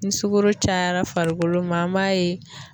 Ni sugoro cayara farikolo ma an m'a ye